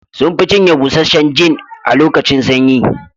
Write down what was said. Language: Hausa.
Sun fi cinye busasshen gin a lokacin sanyi